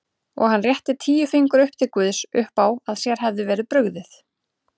Og hann rétti tíu fingur upp til guðs uppá að sér hefði verið brugðið.